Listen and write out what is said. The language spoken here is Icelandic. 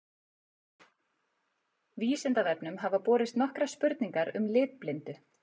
Vísindavefnum hafa borist nokkrar spurningar um litblindu.